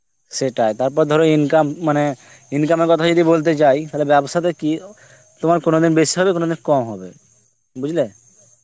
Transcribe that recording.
সেটাই, তারপর ধরো income মানে আঁ income এর কথা যদি বলতে যাই তালে ব্যবসা তে কি তোমার কোনো দিন বেশি হবে কোনো দিন কম হবে বুঝলে